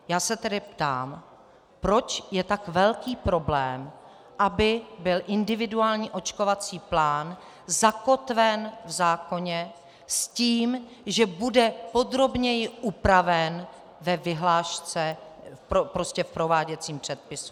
Já se tedy ptám, proč je tak velký problém, aby byl individuální očkovací plán zakotven v zákoně s tím, že bude podrobněji upraven ve vyhlášce, prostě v prováděcím předpisu.